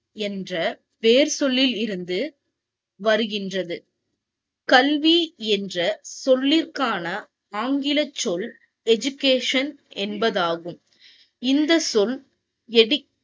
என்ற வேர் சொல்லிலிருந்து வருகிறது கல்வி என்ற சொல்லிற்கான ஆங்கில சொல் என்பதாகும்.